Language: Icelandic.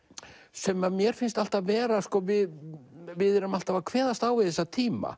sem mér finnst alltaf vera við við erum alltaf að kveðast á við þessa tíma